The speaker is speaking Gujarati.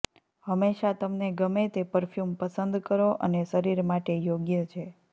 હંમેશા તમને ગમે તે પરફ્યુમ પસંદ કરો અને શરીર માટે યોગ્ય છે